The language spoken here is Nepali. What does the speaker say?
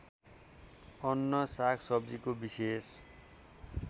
अन्न सागसब्जीको विशेष